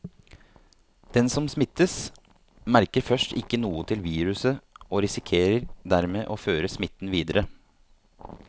Den som smittes, merker først ikke noe til viruset og risikerer dermed å føre smitten videre.